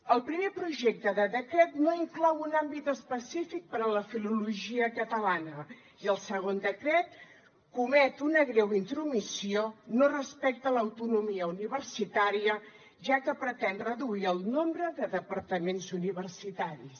el primer projecte de decret no inclou un àmbit específic per a la filologia catalana i el segon decret comet una greu intromissió no respecta l’autonomia universitària ja que pretén reduir el nombre de departaments universitaris